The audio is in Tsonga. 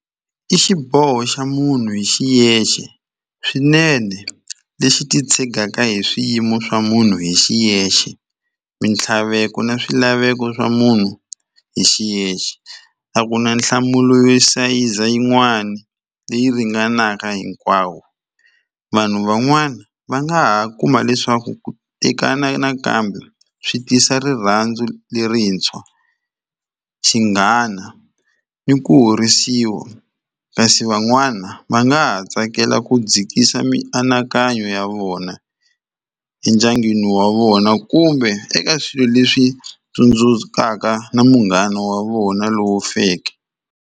I xiboho xa munhu hi xiyexe swinene lexi titshegaka hi swiyimo swa munhu hi xiyexe mintlhaveko na swilaveko swa munhu hi xiyexe a ku na nhlamulo yo sayiza yin'wani leyi ringanaka hinkwawo vanhu van'wana va nga ha kuma leswaku ku tekana nakambe swi tisa rirhandzu lerintshwa xinghana ni ku horisiwa kasi van'wana va nga ha tsakela ku dzikisa mianakanyo ya vona endyangwini wa vona kumbe eka swilo leswi tsundzukaka na munghana wa vona lowu feke.